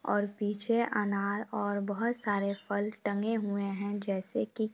और पीछे अनार और बहुत सारे फल टंगे हुए है जैसे की --